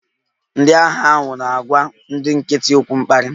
Ndị agha ahụ na-agwa ndị nkịtị okwu mkparị